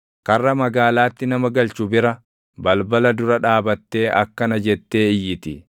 karra magaalaatti nama galchu bira, balbala dura dhaabattee akkana jettee iyyiti: